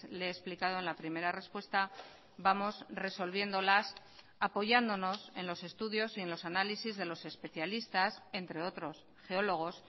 le he explicado en la primera respuesta vamos resolviéndolas apoyándonos en los estudios y en los análisis de los especialistas entre otros geólogos